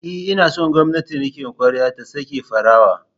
E, ina son gwamnatin rikon kwarya ta sake farawa.